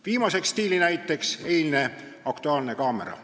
Viimaseks stiilinäiteks on eilne "Aktuaalne kaamera".